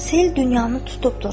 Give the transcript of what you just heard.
Sel dünyanı tutubdur.